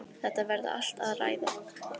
Þetta verði allt að ræða.